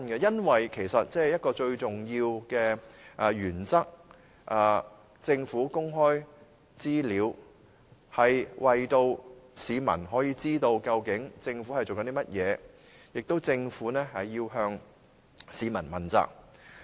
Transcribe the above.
因為一個最重要的原則是，政府公開資料能讓市民知道政府究竟在做甚麼，同時政府亦要向市民問責。